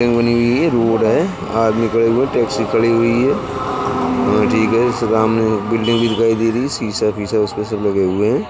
बनी हुई है। रोड है। आदमी खड़े हुए हैं। टैक्सी खड़ी हुई है। ठीक है। उसके सामने बिल्डिंग दिखाई दे रही है। शीशा-फीशा उस पे सब लगे हुए हैं।